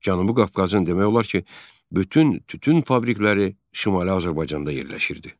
Cənubi Qafqazın demək olar ki, bütün tütün fabrikələri Şimali Azərbaycanda yerləşirdi.